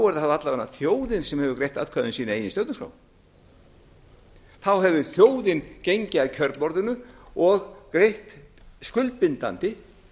alla vega þjóðin sem hefur greitt atkvæði um sína eigin stjórnarskrá þá hefði þjóðin gengið að kjörborðinu og greitt skuldbindandi